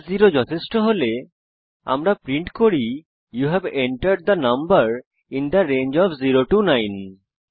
case 0 যথেষ্ট হলে আমরা প্রিন্ট করি you have entered the number in the range of 0 9